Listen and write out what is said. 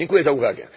Dziękuję za uwagę.